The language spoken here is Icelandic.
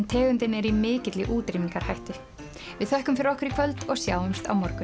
tegundin er í mikilli útrýmingarhættu við þökkum fyrir okkur í kvöld og sjáumst á morgun